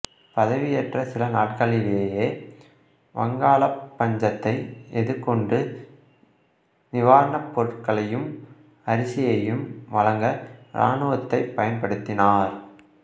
பதவியேற்ற சில நாட்களிலேயே வங்காளப் பஞ்சத்தை எதிர்கொண்டு நிவாரணப் பொருட்களையும் அரிசியையும் வழங்க இராணுவத்தைப் பயன்படுத்தினார்